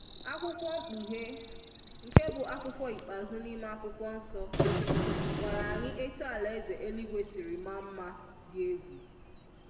Akwùkwo mkpùhè, nke bụ akwùkwo ikpeazụ n'ime akwùkwo nso, gwàrà anyị etù alàèzè èlìgwe siri màa nma dị ẹ̀gwu.